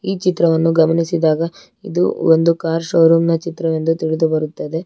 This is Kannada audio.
ಚಿತ್ರವನ್ನು ಗಮನಿಸಿದಾಗ ಇದು ಒಂದು ಕಾರ್ ಶೋರೂಮ್ ನ ಚಿತ್ರವೆಂದು ತಿಳಿದು ಬರುತ್ತದೆ.